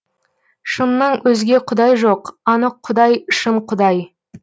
шыннан өзге құдай жоқ анық құдай шын құдай